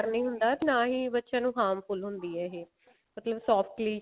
ਨਹੀਂ ਹੁੰਦਾ ਤੇ ਨਾ ਹੀ ਬੱਚੇ ਨੂੰ harmful ਹੁੰਦੀ ਆ ਇਹ ਮਤਲਬ softly